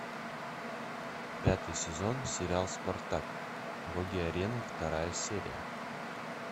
пятый сезон сериал спартак боги арены вторая серия